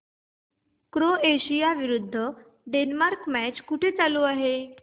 Croatia विरुद्ध Denmark match कुठे चालू आहे